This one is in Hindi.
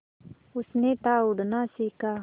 उसने था उड़ना सिखा